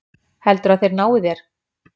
Heldurðu að þeir nái þér?